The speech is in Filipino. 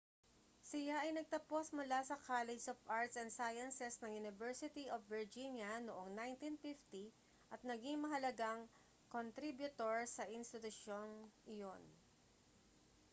siya ay nagtapos mula sa collegge of arts & sciences ng university of virginia noong 1950 at naging mahalagang kontribyutor sa institusyong iyon